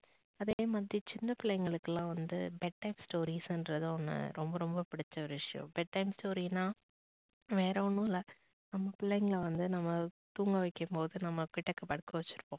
அதே மாதிரி சின்ன புல்லைங்களுகுலாம் வந்து bedtime stories னுறது அவங்க ரொம்ப ரொம்ப புடிச்ச ஒரு விஷயம் bedtime story னா வேற ஒன்னு இல்ல நம்ப புள்ளைங்களை வந்து நம்ப தூங்க வைக்கும் போது நம்ப கிட்டக்க படுக்க வச்சி இருப்போம்